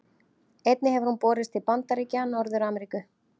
Einnig hefur hún borist til Bandaríkja Norður-Ameríku.